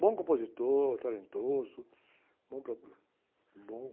Bom compositor, talentoso, bom, bom...